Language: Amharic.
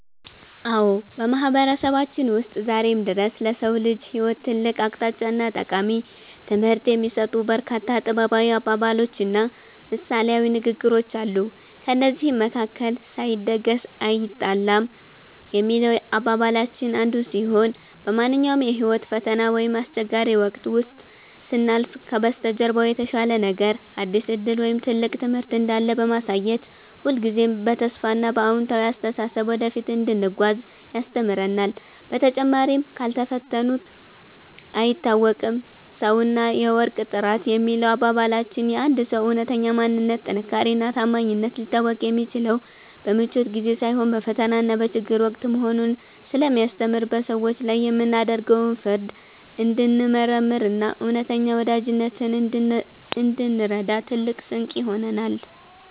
አዎ፣ በማህበረሰባችን ውስጥ ዛሬም ድረስ ለሰው ልጅ ህይወት ትልቅ አቅጣጫና ጠቃሚ ትምህርት የሚሰጡ በርካታ ጥበባዊ አባባሎችና ምሳሌያዊ ንግግሮች አሉ። ከእነዚህም መካከል “ሳይደግስ አይጣላም” የሚለው አባባላችን አንዱ ሲሆን፣ በማንኛውም የህይወት ፈተና ወይም አስቸጋሪ ወቅት ውስጥ ስናልፍ ከበስተጀርባው የተሻለ ነገር፣ አዲስ ዕድል ወይም ትልቅ ትምህርት እንዳለ በማሳየት ሁልጊዜም በተስፋና በአዎንታዊ አስተሳሰብ ወደፊት እንድንጓዝ ያስተምረናል። በተጨማሪም “ካልፈተኑት አይታወቅም ሰውና የወርቅ ጥራት” የሚለው አባባላችን የአንድ ሰው እውነተኛ ማንነት፣ ጥንካሬና ታማኝነት ሊታወቅ የሚችለው በምቾት ጊዜ ሳይሆን በፈተናና በችግር ወቅት መሆኑን ስለሚያስተምር፣ በሰዎች ላይ የምናደርገውን ፍርድ እንድንመረምርና እውነተኛ ወዳጅነትን እንድንረዳ ትልቅ ስንቅ ይሆነናል።